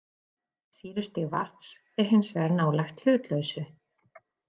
Sýrustig vatns er hins vegar nálægt hlutlausu.